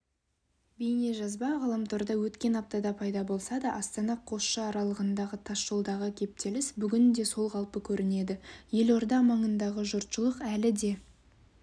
бейнежазба ғаламторда өткен аптада пайда болса да астана-қосшы аралығындағы тасжолдағы кептеліс бүгін де сол қалпы көрінеді елорда маңындағы жұртшылық әлі де